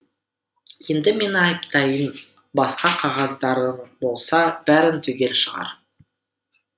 енді мені айыптайтын басқа қағаздарың болса бәрін түгел шығар